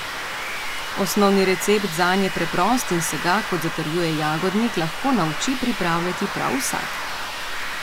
Osnovni recept zanj je preprost in se ga, kot zatrjuje Jagodnik, lahko nauči pripravljati prav vsak.